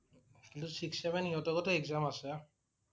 কিন্তু six, seven সিহঁতৰো টো exam আছে।